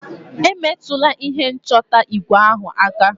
Emetụla ihe nchọta igwe ahụ aka!